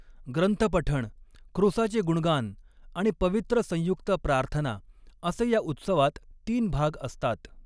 ग्रंथपठण, क्रूसाचे गुणगान आणि पवित्र संयुक्त प्रार्थना असे या उत्सवात तीन भाग असतात.